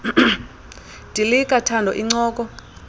dilika thando incoko